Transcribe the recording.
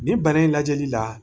Ni bana in lajɛli la